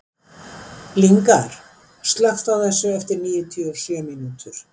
Lyngar, slökktu á þessu eftir níutíu og sjö mínútur.